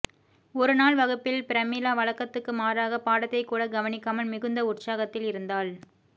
ஒரு நாள் வகுப்பில் பிரமிளா வழக்கத்துக்கு மாறாக பாடத்தைக் கூட கவனிக்காமல் மிகுந்த உற்சாகத்தில் இருந்தாள்